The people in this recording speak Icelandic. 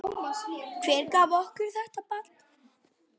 Hver gaf okkur þetta barn?